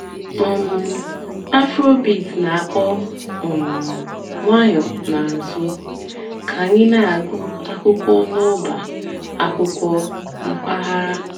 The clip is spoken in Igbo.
um afróbeat nà-àkpọ́ um ǹwànyọ́ n'àzụ́ kà ànyị́ nà-àgụ́ àkwụ́kwọ́ n'ọ̀bá àkwụ́kwọ́ m̀pàghàrà.